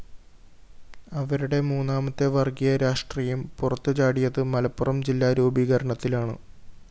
അവരുടെ മൂന്നാമത്തെ വര്‍ഗ്ഗീയ രാഷ്ട്രീയം പുറത്തുചാടിയത് മലപ്പുറം ജില്ലാ രൂപീകരണത്തിലാണ്